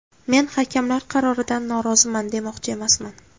Men hakamlar qaroridan noroziman demoqchi emasman.